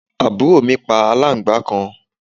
àbúrò mi pa aláǹgbàá kan